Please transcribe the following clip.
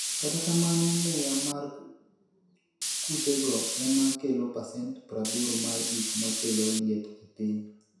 Kata kamano, muya mar kutego ema kelo pasent 80 mar gik makelo liet e piny.